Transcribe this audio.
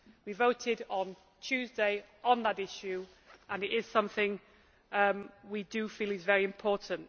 We voted on Tuesday on that issue, and it is something we do feel is very important.